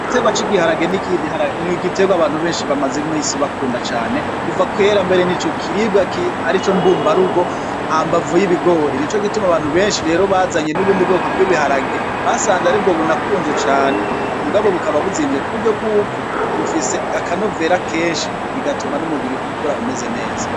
Igitegwa cigiharage nigitegwa abantu bamaze iminsi bakunda cane kuva kera nico gitegwa ari mbumba rugo hambavu yibigori nico gituma abantu benshi rero bazanye nubundi bwoko bwibiharage basanze aribwo bunakunzwe cane mugabo bukaba buzimvye cane kuburyo bwuko bufise akanovera kenshi bigatuma numubiri ukura umeze neza.